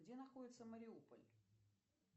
где находится мариуполь